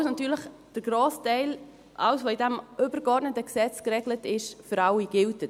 Dies, obwohl natürlich der grosse Teil, alles, was in diesem übergeordneten Gesetz geregelt ist, für alle gilt.